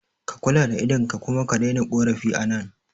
Ka kula da idon ka kuma ka daina korafi a nan